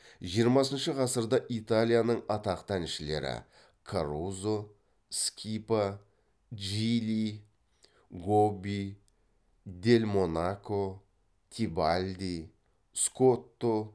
жиырмасыншы ғасырда италияның атақты әншілері карузо скипа джильи гобби дель монако тебальди скотто